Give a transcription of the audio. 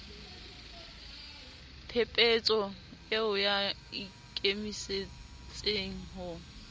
phepetso eo ba ikemisetseng ho